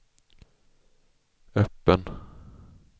öppen